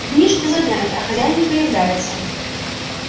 дни шли за днями а хозяин не появляется